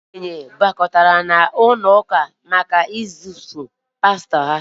ndị okenye nọ n’ọgbakọ ụlọ ụka ga-ezipụ pastọ ahụ